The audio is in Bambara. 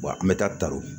an bɛ taa ta o